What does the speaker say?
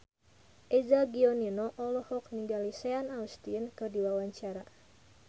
Eza Gionino olohok ningali Sean Astin keur diwawancara